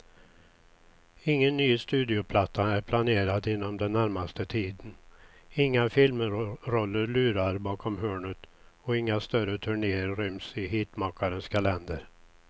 Ingen ny studioplatta är planerad inom den närmaste tiden, inga filmroller lurar bakom hörnet och inga större turnéer ryms i hitmakarens kalender.